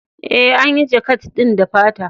E, an yi jakat ɗin da fata.